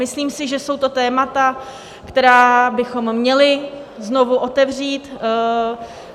Myslím si, že jsou to témata, která bychom měli znovu otevřít.